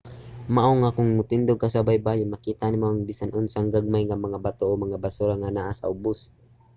mao nga kon motindog ka sa baybayon makita nimo ang bisan unsang gagmay nga mga bato o mga basura nga naa sa ubos